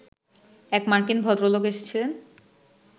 এক মার্কিন ভদ্রলোক এসেছিলেন